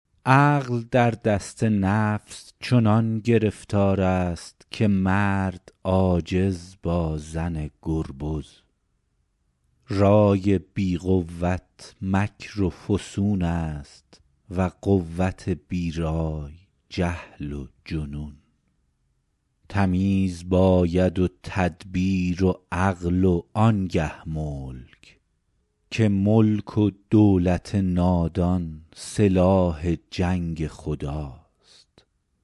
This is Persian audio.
عقل در دست نفس چنان گرفتار است که مرد عاجز با زن گربز رای بی قوت مکر و فسون است و قوت بی رای جهل و جنون تمیز باید و تدبیر و عقل و آن گه ملک که ملک و دولت نادان سلاح جنگ خداست